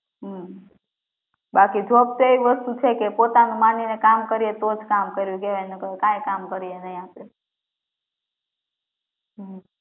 હમ્મ બાકી job તો એવી વસ્તુ છે કે પોતાનું માનીને કામ કરીએ તોજ કામ કર્યું કહેવાય નહીંતર કાંઈ કામ કરીએ નહીં આપડે હમ્મ